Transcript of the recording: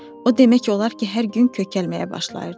O demək olar ki, hər gün kökəlməyə başlayırdı.